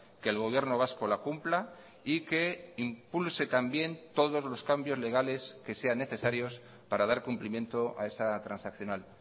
que el gobierno vasco la cumpla y que impulse también todos los cambios legales que sean necesarios para dar cumplimiento a esa transaccional